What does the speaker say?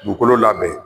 Dugukolo labɛn